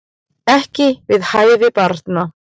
Ekki við hæfi barna